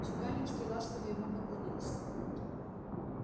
чекалинский ласково ему поклонился